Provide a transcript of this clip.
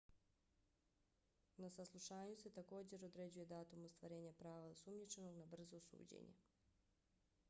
na saslušanju se također određuje datum ostvarenja prava osumnjičenog na brzo suđenje